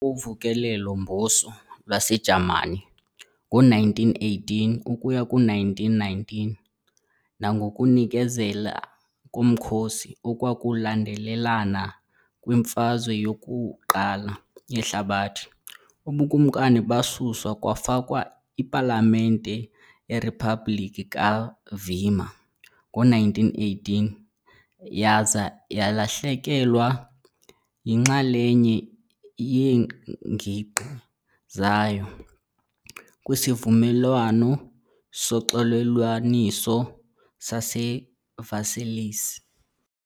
koVukelo-mBuso lwaseJamani ngo-1918-1919 nangokunikezela komkhosi okwakulandelelana kwiMfazwe yoku-1 yeHlabathi, ubuKumkani basuswa kwafakwa ipalamente yeriphabhlikhi kaWeimer ngo-1918 yaza yalahlekelwa yinxalenye yeengingqi zayo kwisivumelwano soxolelwaniso saseVersailles.